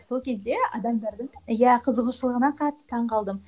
сол кезде адамдардың иә қызығушылығына қатты таң қалдым